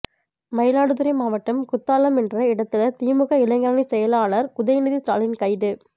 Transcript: மயிலாடுதுறை மாவட்டம் குத்தாலம் என்ற இடத்தில திமுக இளைஞரணி செயலாளர் உதயநிதி ஸ்டாலின் கைது